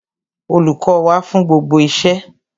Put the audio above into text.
Olùkọ́ wà fún gbogbo iṣẹ́.